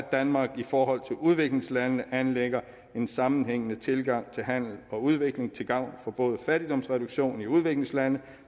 danmark i forhold til udviklingslandene anlægger en sammenhængende tilgang til handel og udvikling til gavn for både fattigdomsreduktion i udviklingslande